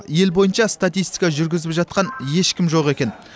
ел бойынша статистика жүргізіп жатқан ешкім жоқ екен